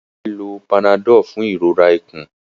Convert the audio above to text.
Ìyá rẹ ló Panadol fún ìrora ikùn.